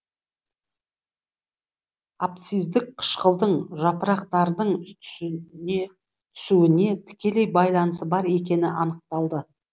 абсциздік қышқылдың жапырақтардың түсүіне тікелей байланысы бар екені анықталды